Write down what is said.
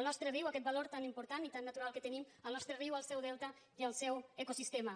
el nostre riu aquest valor tan important i tan natural que tenim el nostre riu el seu delta i el seu ecosistema